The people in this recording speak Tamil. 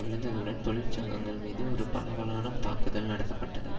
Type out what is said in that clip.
விழுந்ததுடன் தொழிற்சங்கங்கள் மீது ஒரு பரவலான தாக்குதல் நடாத்த பட்டது